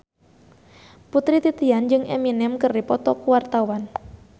Putri Titian jeung Eminem keur dipoto ku wartawan